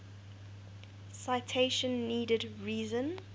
citation needed reason